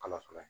Kalo fɔlɔ